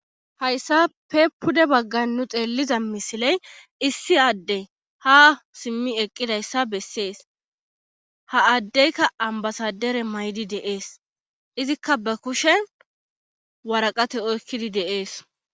hayssa pe pude baggan nu xeelliza misiley issi adde ha simmi eqqidayssa bessees ha addeykka ambasadere maydi deees izikka ba kushe waraqate oykkidi deees